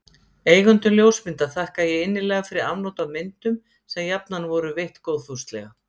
Eigendum ljósmynda þakka ég innilega fyrir afnot af myndum, sem jafnan voru veitt góðfúslega.